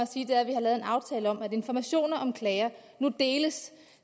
sige er at vi har lavet en aftale om at informationer om klager nu deles